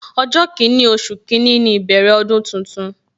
Ọjọ kini, oṣù kini ni ìbẹ̀rẹ̀ ọdún tuntun